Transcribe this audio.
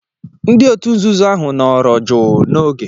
Ndị òtù nzuzo ahụ nọrọ jụụ n'oge.